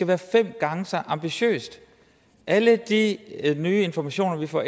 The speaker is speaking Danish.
være fem gange så ambitiøse alle de nye informationer vi får